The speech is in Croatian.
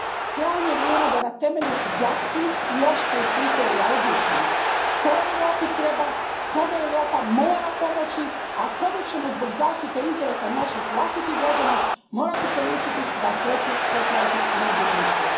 Krajnje je vrijeme da na temelju jasnih i oštrih kriterija odlučimo tko Europi treba, kome Europa mora pomoći, a kome ćemo zbog zaštite interesa naših vlastitih građana morati poručiti da sreću potraži negdje drugdje.